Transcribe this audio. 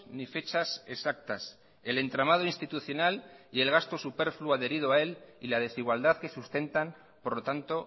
ni fechas exactas el entramado institucional y el gasto superfluo adherido a él y la desigualdad que sustentan por lo tanto